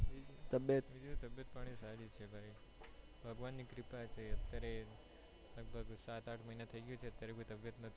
તબેટ પાણી સારી છે ભાગવાની ની કૃપા છેઅત્યારે લગભગ સાત આઠ મહિના થઇ ગયા છે અત્યારે કોઈ તબિયત